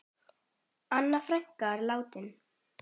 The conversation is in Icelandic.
Anna frænka er látin.